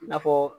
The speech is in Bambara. I n'a fɔ